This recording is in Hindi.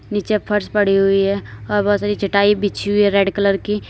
नीचे फर्श पड़ी हुई है और बहोत सारी चटाई बिछी हुई है रेड कलर की।